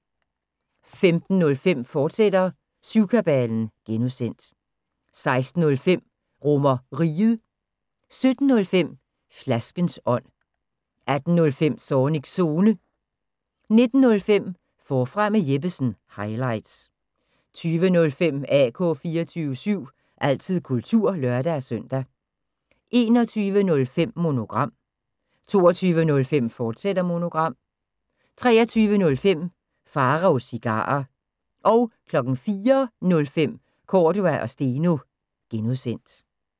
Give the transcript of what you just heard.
15:05: Syvkabalen (G), fortsat 16:05: RomerRiget 17:05: Flaskens ånd 18:05: Zornigs Zone 19:05: Forfra med Jeppesen – highlights 20:05: AK 24syv – altid kultur (lør-søn) 21:05: Monogram 22:05: Monogram, fortsat 23:05: Pharaos Cigarer 04:05: Cordua & Steno (G)